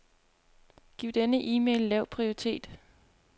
Giv denne e-mail lav prioritet.